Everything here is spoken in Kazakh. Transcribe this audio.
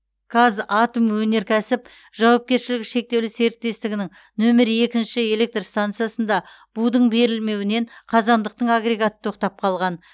қазатомөнеркәсіп жауапкершілігі шектеулі серіктестігінің нөмірі екінші электр стансасында будың берілмеуінен қазандықтың агрегаты тоқтап қалған